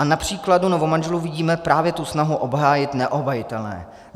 A na příkladu novomanželů vidíme právě tu snahu obhájit neobhajitelné.